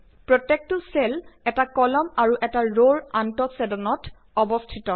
প্ৰত্যেকটো চেল এটা কলাম আৰু এটা ৰৰ আন্তঃছেদনত অৱস্থিত